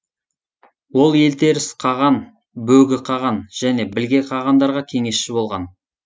ол елтеріс қаған бөгі қаған және білге қағандарға кеңесші болған